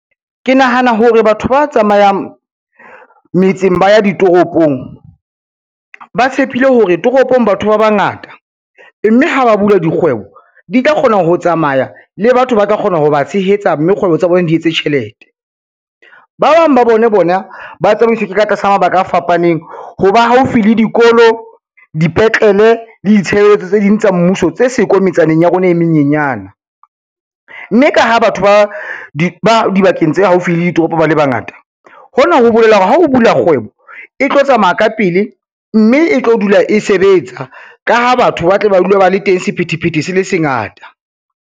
Ke nahana hore batho ba tsamayang metseng ba ya ditoropong, ba tshepile hore toropong batho ba bangata, mme ha ba bula dikgwebo di tla kgona ho tsamaya le batho ba tla kgona ho ba tshehetsa mme kgwebo tsa bona di etse tjhelete. Ba bang ba bone bona ba tsamaiswe ka tlasa mabaka a fapaneng ho ba haufi le dikolo, dipetlele le ditshebeletso tse ding tsa mmuso tse siko metsaneng ya rona e menyenyane, mme ka ha batho ba dibakeng tse haufi le ditoropo ba le bangata, hona ho bolela hore ha o bula kgwebo, e tlo tsamaya ka pele, mme e tlo dula e sebetsa ka ha batho ba tle ba dula ba le teng sephethephethe se le se ngata.